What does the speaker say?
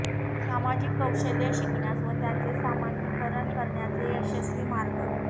सामाजिक कौशल्ये शिकण्यास व त्यांचे सामान्यीकरण करण्याचे यशस्वी मार्गः